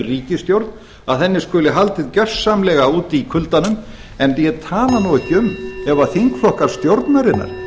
ríkisstjórn að henni skuli haldið gjörsamlega úti í kuldanum en ég tala nú ekki um ef þingflokkar stjórnarinnar